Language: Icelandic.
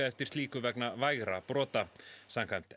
eftir slíku vegna vægra brota samkvæmt